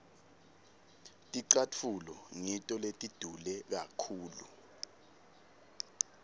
ticatfulo ngito letidule kakhulu